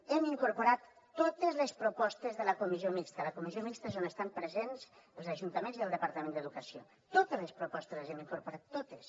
hem incorporat totes les propostes de la comissió mixta la comissió mixta és on estan presents els ajuntaments i el departament d’educació totes les propostes les hem incorporat totes